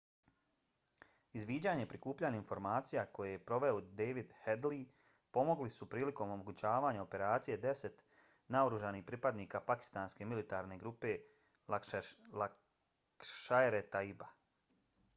izviđanje i prikupljanje informacija koje je proveo david headley pomogli su prilikom omogućavanja operacije deset naoružanih pripadnika pakistanske militantne grupe laskhar-e-taiba